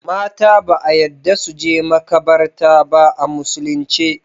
Mata ba a yadda suje makabarta ba a musulin ce